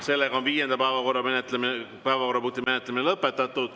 Sellega on viienda päevakorrapunkti menetlemine lõpetatud.